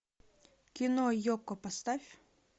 кино йоко поставь